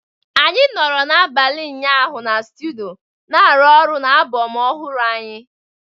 Anyị nọrọ n'abalị ụnyaahụ na studio na-arụ ọrụ na album ọhụrụ anyị